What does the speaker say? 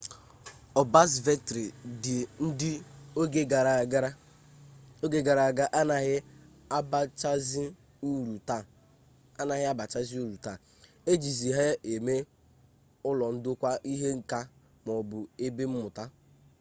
ọbzavetrị ndị oge gara aga anaghị abachazi uru taa e jizi ha eme ụlọ ndokwa ihe nka maọbụ ebe mmụta